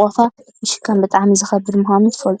ሑቆካ ምሽካም ብጣዕሚ ዝከብድ ምኳኑ ትፈልጡ ዶ?